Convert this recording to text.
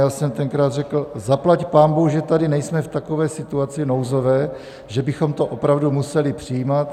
Já jsem tenkrát řekl: Zaplať pánbůh, že tady nejsme v takové situaci nouzové, že bychom to opravdu museli přijímat.